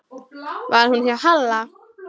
Var hún hjá Halla?